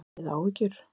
Hafið þið áhyggjur?